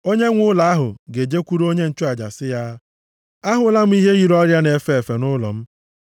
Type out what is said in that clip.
onyenwe ụlọ ahụ ga-ejekwuru onye nchụaja sị ya, ‘Ahụla m ihe yiri ọrịa na-efe efe nʼụlọ m.’